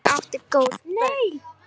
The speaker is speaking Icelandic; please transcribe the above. Hún átti góð börn.